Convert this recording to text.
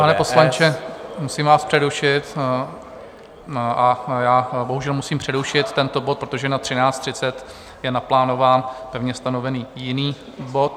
Pane poslanče, musím vás přerušit, a já bohužel musím přerušit tento bod, protože na 13.30 je naplánován pevně stanovený jiný bod.